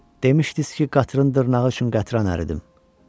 Demışdız ki, qatırın dırnağı üçün qətran əridim.